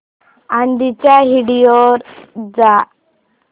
आधीच्या व्हिडिओ वर जा